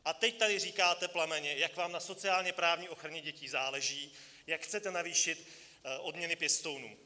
A teď tady říkáte plamenně, jak vám na sociálně-právní ochraně dětí záleží, jak chcete navýšit odměny pěstounům.